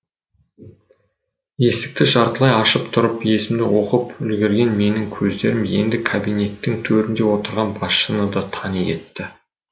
есікті жартылай ашып тұрып есімді оқып үлгерген менің көздерім енді кабинеттің төрінде отырған басшыны да тани кетті